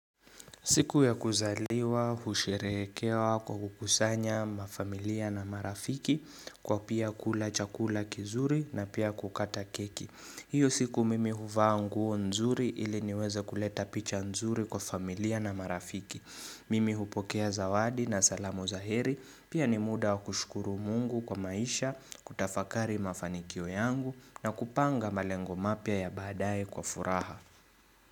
Siku ya kuzaliwa, husherehekewa kwa kukusanya na familia na marafiki kwa pia kula chakula kizuri na pia kukata keki. Hiyo siku mimi huvaa nguo nzuri ili niweze kuleta picha nzuri kwa familia na marafiki. Mimi hupokea zawadi na salamu za heri pia ni muda wa kushukuru mungu kwa maisha kutafakari mafanikio yangu na kupanga malengo mapya ya baadae kwa furaha.